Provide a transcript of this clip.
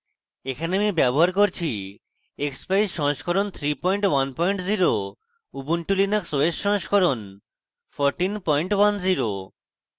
এখানে আমি ব্যবহার করছি